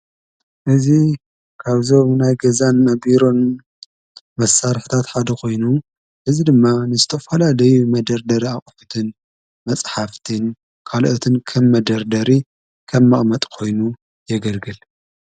እዝ ካብ ዘው ናይ ገዛን መቢሮን መሳር ሕታት ሓደ ኾይኑ እዝ ድማ ንስጦፍላ ደይ መደርደር ኣቕፍትን መጽሓፍትን ካልኦትን ከም መደርደሪ ከም ማእመጥ ኾይኑ የገልግል።